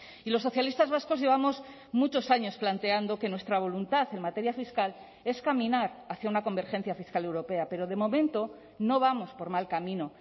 y los socialistas vascos llevamos muchos años planteando que nuestra voluntad en materia fiscal es caminar hacia una convergencia fiscal europea pero de momento no vamos por mal camino